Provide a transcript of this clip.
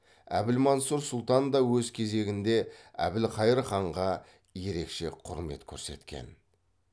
әбілмансұр сұлтан да өз кезегінде әбілқайыр ханға ерекше құрмет көрсеткен